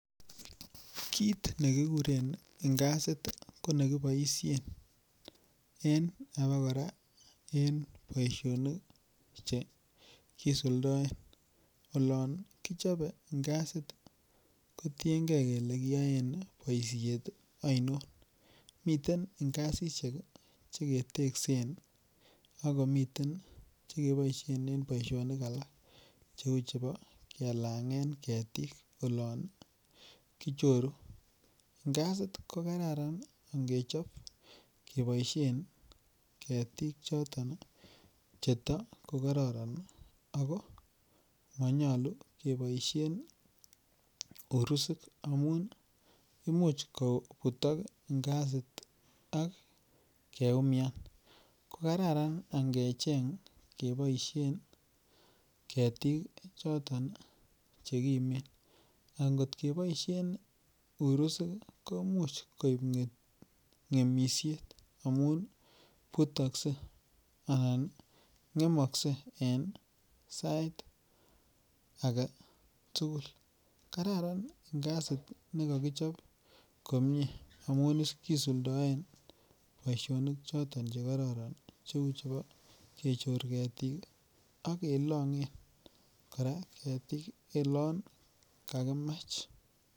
Kit ne kiguren ngazit ko ne kiboisien en abakora en boisionik Che kisuldaen olon kichobe ngazit kotienge kole kiyoen boisiet ainon miten ngasisiek Che keteksen ak komiten Che keboisien en boisionik alak Cheu chebo kelangen ketik olon kichoru ngazit ko Kararan angechob keboisien ketik choton cheto ko karoron ago manyolu keboisien urusik amun imuch kobutok ngazit ak keumian ko Kararan angechob keboisien ketik choton Che kimen angot keboisien uruzik ko Imuch koib ngemisiet amun butokse anan ngemokse en sait age tugul kararan ngazit ne kokichob komie amun kisuldaen boisionik Che kororon cheu chebo kechor ketik ak kelangen kora ketik oloon kakimach